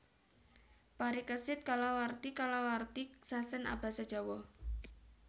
Parikesit kalawarti kalawarti sasèn abasa Jawa